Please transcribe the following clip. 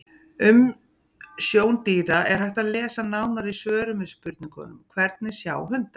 Um sjón dýra er hægt að lesa nánar í svörum við spurningunum: Hvernig sjá hundar?